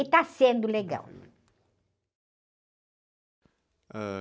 E está sendo legal.h